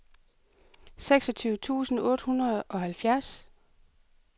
seksogtyve tusind otte hundrede og halvfjerds